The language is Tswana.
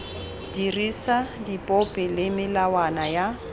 dirisa dipopi le melawana ya